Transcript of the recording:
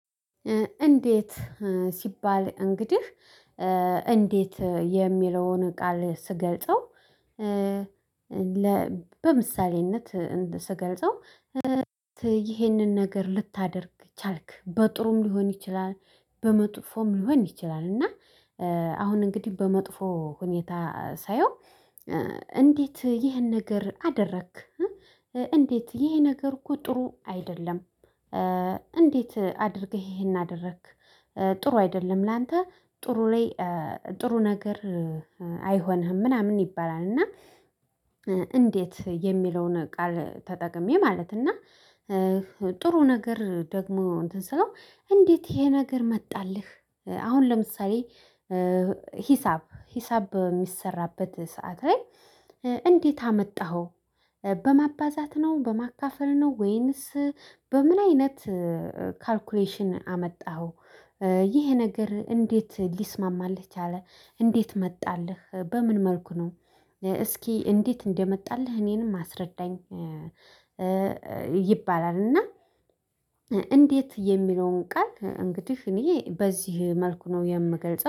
እንዴት ሲባል እንግዲህ እንዴት የሚለውን ቃል ስገልጸው። ለ በምሳሌነት ስገልጸው ይህንን ነገር ልታደርግ ቻልክ በጥሩም ሊሆን ይችላል በመጥፎም ሊሆን ይችላል። እና አሁን እንግዲህ በመጥፎ ሁኔታ ሳየው እንዴት ይህን ነገር አደረክ? እንዴት ይሄ ነገር እኮ ጥሩ አይደለም? እንዴት አድርገህ ይሄን አደረክ? ጥሩ አይደለም ላንተ ጥሩ ላይ ጥሩ ነገር አይሆንህም ምናምን ይባላል። እና እንዴት የሚለውን ቃል ተጠቅሜ ማለት እና። ጥሩ ነገር ደግሞ እንዴት ይሄ ነገር መጣልህ? አሁን ለምሳሌ ሂሳብ በሚሰራበት ሰዓት ላይ እንዴት አመጣኸው? በማባዛት ነው በማካፈል ነው ወይንስ በምን አይነት ካልኩሌሽን አመጣኸው? ይህ ነገር እንዴት ሊስማማልህ ቻለ? እንዴት መጣልህ በምን መልኩ ነው? እስኪ እንዴት እንደመጣልህ እኔንም አስረዳኝ? ይባላል እና እንዴት የሚለውን ቃል እንግዲህ እኔ በዚህ መልኩ ነው የምገልጸው